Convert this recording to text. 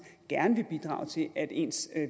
gerne vil bidrage til at ens